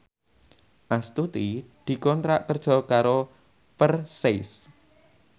Astuti dikontrak kerja karo Versace